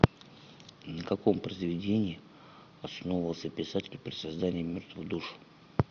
на каком произведении основывался писатель при создании мертвых душ